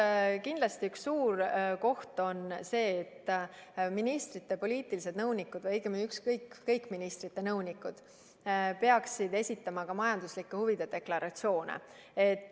Esiteks, kindlasti üks suur koht on see, et ministrite poliitilised nõunikud või õigemini kõik ministrite nõunikud peaksid esitama ka majanduslike huvide deklaratsioone.